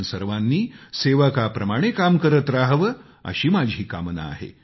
आपण सर्वांनी सेवकाप्रमाणे काम करत रहावं अशी माझी कामना आहे